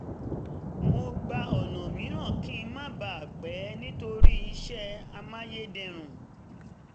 mo gba ọ̀nà mìíràn kí n má bà a pẹ́ nítorí iṣẹ́ amáyédẹrùn